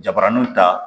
Jabaraninw ta